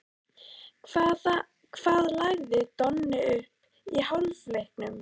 Hvað lagði Donni upp í hálfleiknum?